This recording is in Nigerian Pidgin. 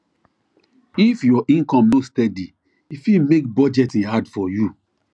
if your income no steady e fit make budgeting hard for you